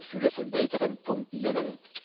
Ich könnte eine Fülle von weiteren Punkten nennen.